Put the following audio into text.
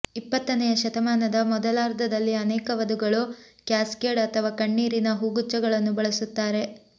ಇಪ್ಪತ್ತನೆಯ ಶತಮಾನದ ಮೊದಲಾರ್ಧದಲ್ಲಿ ಅನೇಕ ವಧುಗಳು ಕ್ಯಾಸ್ಕೇಡ್ ಅಥವಾ ಕಣ್ಣೀರಿನ ಹೂಗುಚ್ಛಗಳನ್ನು ಬಳಸುತ್ತಾರೆ